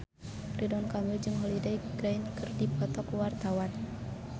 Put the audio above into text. Ridwan Kamil jeung Holliday Grainger keur dipoto ku wartawan